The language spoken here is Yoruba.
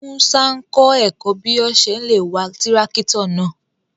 Múṣà n kọ èkọ́ bí ọ̀ ṣè lé wà tirakítò náà.